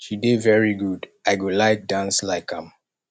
she dey very good i go like dance like am